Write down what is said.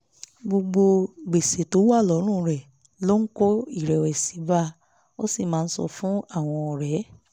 gbogbo gbèsè tó wà lọ́rùn rẹ̀ ló ń kó ìrẹ̀wẹ̀sì bá a ó sì máa ń sọ fún àwọn ọ̀rẹ́